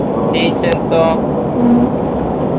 teachers ഓ